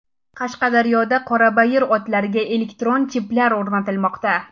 Qashqadaryoda qorabayir otlariga elektron chiplar o‘rnatilmoqda.